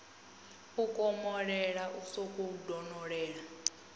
u komolela u sokou donolela